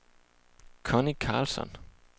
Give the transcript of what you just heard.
Connie Carlsson